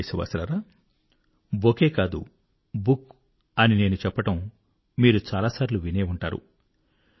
నా ప్రియ దేశవాసులారా బొకే కాదు బుక్ అని నేను చెప్పడం మీరు చాలా సార్లు వినే ఉంటారు